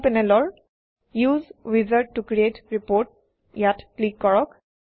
সোঁ পেনেলৰ উচে উইজাৰ্ড ত ক্ৰিএট ৰিপোৰ্ট ইয়াত ক্লিক কৰক